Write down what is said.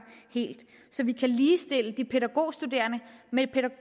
helt så vi kan ligestille de pædagogstuderende